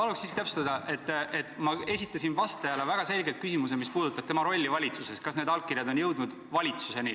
Ma palun siiski täpsustada, et ma esitasin vastajale väga selgelt küsimuse, mis puudutab tema rolli valitsuses, et kas need allkirjad on jõudnud valitsusse.